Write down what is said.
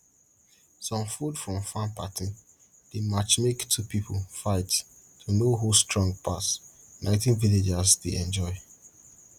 some food from farm party dey match make two pipo fight to know who strong pass na wetin villagers dey enjoy